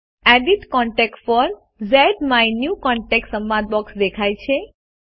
edit contact for ઝ્માયન્યુકોન્ટેક્ટ સંવાદ box દેખાય છે